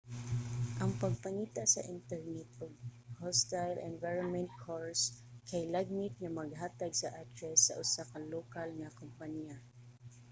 ang pagpangita sa internet og hostile environment course kay lagmit nga maghatag sa address sa usa ka lokal nga kompanya